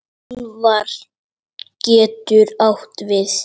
Úlfar getur átt við